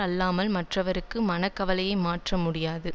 அல்லாமல் மற்றவர்க்கு மனக்கவலையை மாற்ற முடியாது